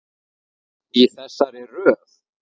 Í þessari röð.